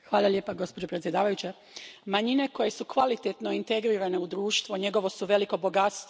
Poštovana predsjedavajuća, manjine koje su kvalitetno integrirane u društvo njegovo su veliko bogatstvo.